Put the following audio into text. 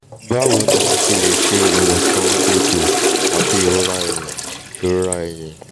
bawo ni a se le se iwosan egbo ati irora eyin irora eyin